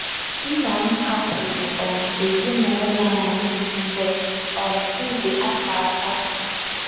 Nna m hapụrụ um ezinụlọ anyị mgbe um m dị afọ asatọ.